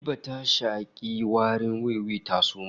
Habiba ta shaki warin wiwi ta suma